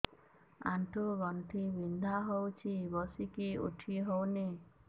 ଆଣ୍ଠୁ ଗଣ୍ଠି ବିନ୍ଧା ହଉଚି ବସିକି ଉଠି ହଉନି